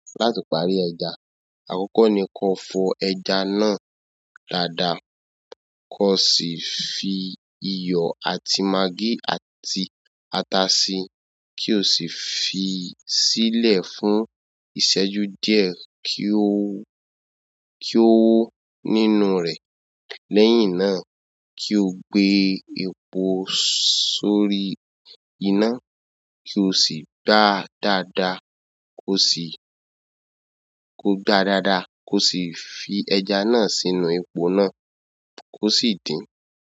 Láti parí ẹja, àkọ́kọ́ ni kó fọ ẹja náà dáadáa, kò sì fi iyọ̀ àti magí àti ata si, kí o sì fi sílẹ̀ fún ìṣẹ́jú díẹ̀ kí ó, kí ó wó nínú rẹ̀. Lẹ́yìn náà, kí o gbé epo sórí iná kí o sì gbá dáadáa, kó sì, kó gbá dáadáa kó sì fi ẹ̀jà náà sínú epo náà kó sì dín.